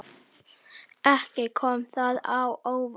Ekki kom það á óvart.